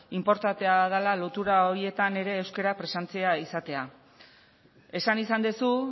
inportantea dela lotura horietan ere euskera presentzia izatea esan izan duzu